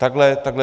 Takhle to je.